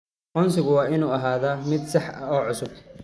Aqoonsigu waa inuu ahaadaa mid sax ah oo cusub.